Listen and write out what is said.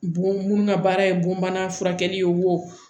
Bon mun ŋa baara ye bon bana furakɛli ye wo